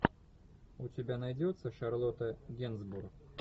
у тебя найдется шарлотта генсбур